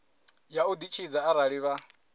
ya u ditshidza arali vha